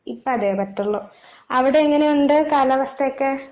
ഇപ്പതേ പറ്റുള്ളൂ. അവിടെയെങ്ങനെയുണ്ട് കാലാവസ്ഥയൊക്കെ?